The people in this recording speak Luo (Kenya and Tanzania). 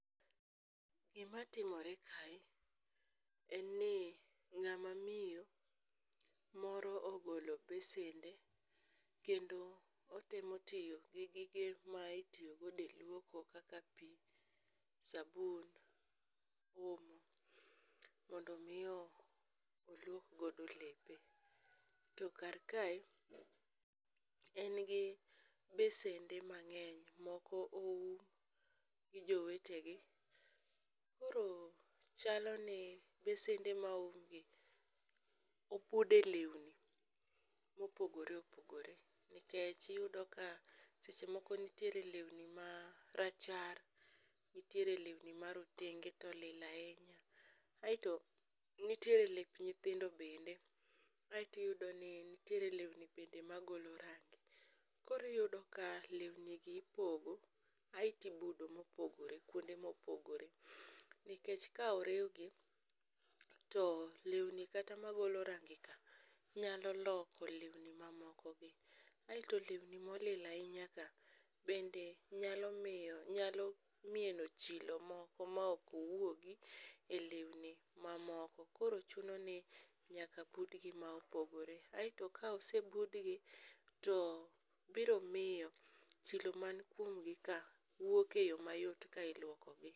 Gimatimore kae en ni ng'ama miyo moro ogolo besende kendo otemo tiyo gi gige ma itiyogodo e luoko kaka pi, sabun, omo mondo omi oluokgodo lepe, to karkae en gi besende mang'eny moko oum gi jowetegi koro chaloni besende ma oumgi obude lewni mopogore opogore nikech iyudo ka seche moko nitiere lewni marachar nitiere lewni marotenge to olil ahinya aeto nitiere lep nyithindo bende aeto iyudo ni nitire lewni bende magolo rangi koro iyudo ka lewnigi ipogo aeto ibudo mopogore kuonde mopogore nikech ka oriwgi to lewni kata magolo rangika nyalo loko lewni mamokogi, aeto lewni molil ahinyaka nyalo mieno chilo moko maokwuogi e lewni mamoko koro chuno ni nyaka budgi ma opogore, aeto kosebudgi to biro miyo chilo mankuomgi ka wuok e yo mayot ka ilwokogi.